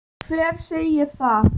Hver segir það?